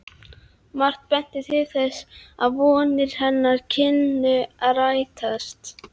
Margt benti til þess, að vonir hennar kynnu að rætast.